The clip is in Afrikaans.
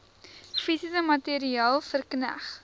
fisies materieel verkneg